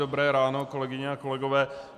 Dobré ráno, kolegyně a kolegové.